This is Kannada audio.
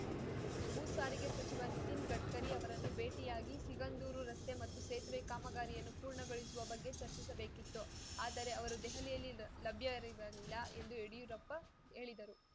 ಭೂ ಸಾರಿಗೆ ಸಚಿವ ನಿತಿನ್‌ ಗಡ್ಕರಿ ಅವರನ್ನು ಭೇಟಿಯಾಗಿ ಸಿಗಂಧೂರು ರಸ್ತೆ ಮತ್ತು ಸೇತುವೆ ಕಾಮಗಾರಿಯನ್ನು ಪೂರ್ಣಗೊಳಿಸುವ ಬಗ್ಗೆ ಚರ್ಚಿಸಬೇಕಿತ್ತು ಆದರೆ ಅವರು ದೆಹಲಿಯಲ್ಲಿ ಲ ಲಭ್ಯರಿರಲಿಲ್ಲ ಎಂದು ಯಡಿಯೂರಪ್ಪ ಹೇಳಿದರು